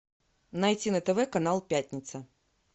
найти на тв канал пятница